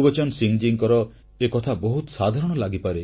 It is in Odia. ଗୁରବଚନ ସିଂହ ମହାଶୟଙ୍କର ଏକଥା ବହୁତ ସାଧାରଣ ଲାଗିପାରେ